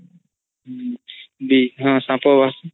ହଁ ସାପ